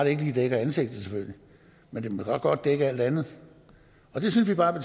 ikke lige dækker ansigtet men det må godt dække alt andet og det synes vi bare